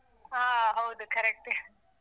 ಹಾ ಹೌದು correct.